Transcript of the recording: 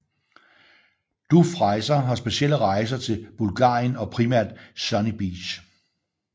DUF Rejser har speciale i rejser til Bulgarien og primært Sunny Beach